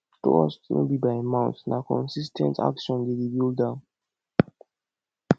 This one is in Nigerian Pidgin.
trust no bi by mouth na consis ten t action dey rebuild am